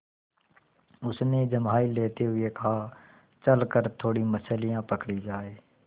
उसने जम्हाई लेते हुए कहा चल कर थोड़ी मछलियाँ पकड़ी जाएँ